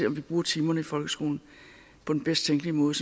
om vi bruger timerne i folkeskolen på den bedst tænkelige måde